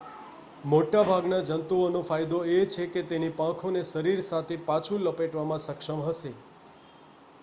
મોટાભાગના જંતુઓનો ફાયદો એ છે કે તેની પાંખોને શરીર સાથે પાછું લપેટવામાં સક્ષમ હશે